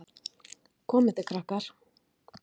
Komið þið, krakkar!